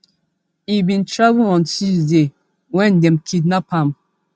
e bin travel on tuesday wen dem kidnap am